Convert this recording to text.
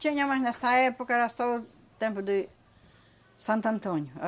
Tinha, mas nessa época era só o tempo de Santo Antônio.